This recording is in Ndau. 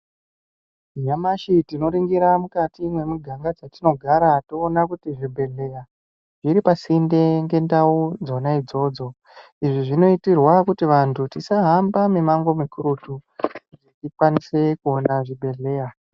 Nyamashi tinoringira mukati mwemiganga dzatinogara toona kuti zvibhedhleya zviri pasinde ngendau dzona idzodzo izvi zvinoitirwa kuti vanthu tisahambe mimamngo mikurutu kuti tikwanise kuona zvibhedhleya.